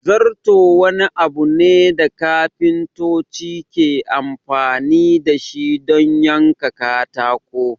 Zarto wani abu ne da kafintoci ke amfani dashi don yanka katako